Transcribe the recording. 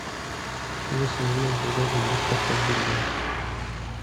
алиса узнай когда будет доставка бургеров